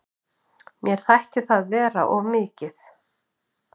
Mér þætti það vera of mikið.